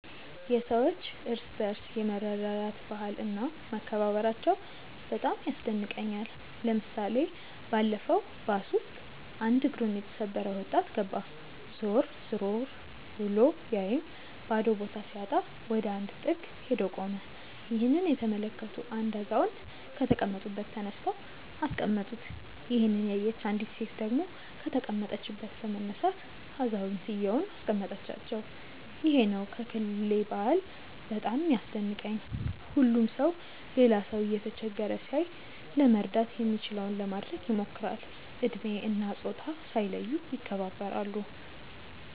የሰዎች እርስ በርስ የመረዳዳት ባህል እና መከባበራቸው በጣም ያስደንቀኛል። ለምሳሌ ባለፈው ባስ ውስጥ አንድ እግሩን የተሰበረ ወጣት ገባ። ዞር ዞር ብሎ ቢያይም ባዶ ቦታ ሲያጣ ወደ አንድ ጥግ ሄዶ ቆመ። ይህንን የተመለከቱ አንድ አዛውንት ከተቀመጡበት ተነስተው አስቀመጡት። ይሄንን ያየች አንዲት ሴት ደግሞ ከተቀመጠችበት በመነሳት አዛውየንቱን አስቀመጠቻቸው። ይሄ ነው ከክልሌ ባህል በጣም የሚያስደንቀኝ። ሁሉም ሰው ሌላ ሰው እየተቸገረ ሲያይ ለመርዳት የሚችለውን ለማድረግ ይሞክራል። እድሜ እና ፆታ ሳይለዩ ይከባበራሉ።